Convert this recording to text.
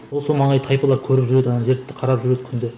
осы маңай тайпалары көріп жүреді ана жерді қарап жүреді күнде